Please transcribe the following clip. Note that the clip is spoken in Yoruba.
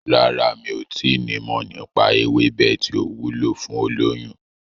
Rárá, mi ò tí nimọ̀ nípa ewébẹ̀ tí ó wúlò fún olóyún.